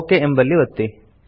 okay ಎಂಬಲ್ಲಿ ಒತ್ತಿ